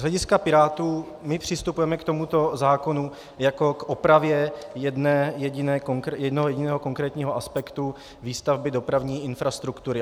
Z hlediska Pirátů, my přistupujeme k tomuto zákonu jako k opravě jednoho jediného konkrétního aspektu výstavby dopravní infrastruktury.